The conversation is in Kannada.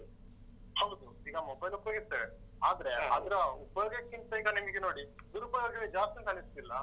ಹೌದು. ಈಗ mobile ಉಪಯೋಗಿಸ್ತೇವೆ ಆದ್ರೆ ಅದ್ರ ಉಪಯೋಗಕ್ಕಿಂತ ಈಗ ನಿಮ್ಗೆ ನೋಡಿ ದುರುಪಯೋಗವೇ ಜಾಸ್ತಿ ಅಂತ ಅನ್ನಿಸ್ತಾ ಇಲ್ವಾ?